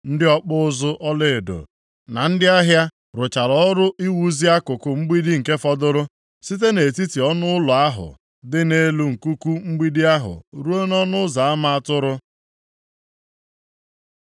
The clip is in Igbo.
Ndị ọkpụ ụzụ ọlaedo na ndị ahịa rụchara ọrụ iwuzi akụkụ mgbidi nke fọdụrụ, site nʼetiti ọnụụlọ ahụ dị nʼelu nkuku mgbidi ahụ ruo nʼỌnụ Ụzọ Ama Atụrụ.